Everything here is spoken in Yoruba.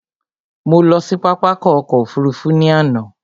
Mo lọ sí pápákọ̀ ọkọ̀ òfurufú ní àná